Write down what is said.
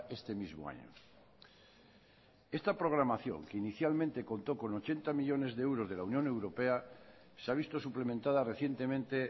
este mismo año esta programación que inicialmente contó con ochenta millónes de euros de la unión europea se ha visto suplementada recientemente